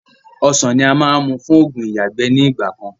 Ọ̀sán ni a máa n mú fún ogún ìyágbẹ́ ni ìgbàkan.